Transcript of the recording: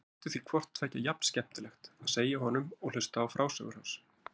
Þótti því hvort tveggja jafn skemmtilegt, að segja honum og hlusta á frásögur hans.